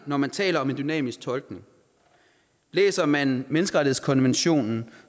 når man taler om en dynamisk tolkning læser man menneskerettighedskonventionen